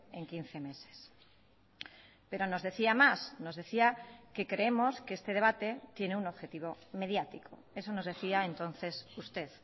en quince meses pero nos decía más nos decía que creemos que este debate tiene un objetivo mediático eso nos decía entonces usted